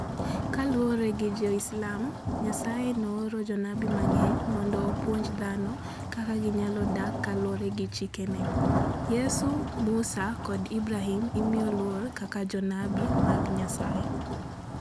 Kaluwore gi Jo-Islam, Nyasaye nooro jonabi mang'eny mondo opuonj dhano kaka ginyalo dak kaluwore gi chikene. Yesu, Musa, kod Ibrahim imiyo luor kaka jonabi mag Nyasaye.